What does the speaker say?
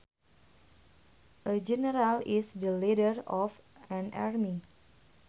A general is the leader of an army